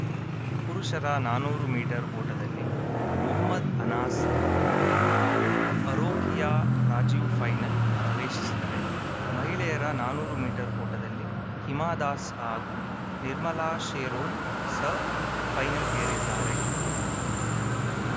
ಪುರುಷರ ನಾನೂರು ಮೀಟರ್ ಓಟದಲ್ಲಿ ಮೊಹಮದ್‌ ಅನಾಸ್‌ ಹಾಗೂ ಅರೋಕಿಯಾ ರಾಜೀವ್‌ ಫೈನಲ್‌ ಪ್ರವೇಶಿಸಿದರೆ ಮಹಿಳೆಯರ ನಾನೂರು ಮೀಟರ್ ಓಟದಲ್ಲಿ ಹಿಮಾ ದಾಸ್‌ ಹಾಗೂ ನಿರ್ಮಲಾ ಶೆರೊನ್‌ ಸಹ್‌ ಫೈನಲ್‌ಗೇರಿದ್ದಾರೆ